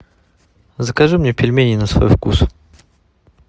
закажи мне пельмени на свой вкус